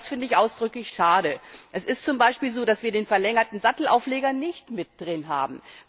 Das finde ich ausdrücklich schade. Es ist z. B. so, dass wir den verlängerten Sattelaufleger nicht mit drin haben.